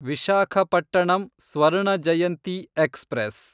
Visakhapatnam Swarna Jayanti express